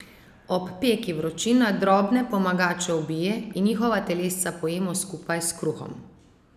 Ob peki vročina drobne pomagače ubije in njihova telesca pojemo skupaj s kruhom.